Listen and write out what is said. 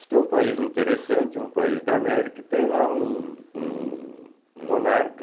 Isto é um país interessante, é um país da América e tem lá um um um monarca,